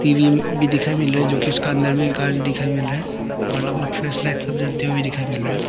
TV भी दिखाई मिल रहा है जो की उसका अंदर में गाड़ी दिखाएं मिल रहा है और अलग अलग फ्लैशलाइट सब जलते हुए दिखाई मिल रहा है।